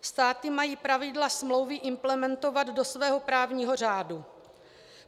Státy mají zpravidla smlouvy implementovat do svého právního řádu.